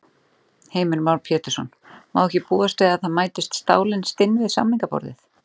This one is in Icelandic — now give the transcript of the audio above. Heimir Már Pétursson: Má ekki búast við að það mætist stálin stinn við samningaborðið?